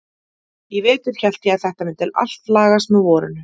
Í vetur hélt ég að þetta mundi allt lagast með vorinu.